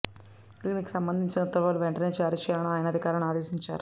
దీనికి సంబంధించిన ఉత్తర్వులు వెంటనే జారీ చేయాలని ఆయన అధికారులను ఆదేశించారు